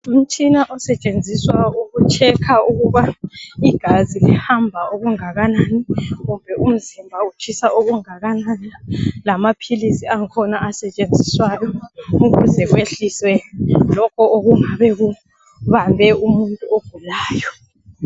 Umtshina osetshenziswa ukutshekha ukubana igazi lihamba okungakanani kumbe umzimba utshisa okungakanani lamaphilisi angkhona asetshenziswa ukwehlisa lokho okungabe kubambe umuntu ogulayo.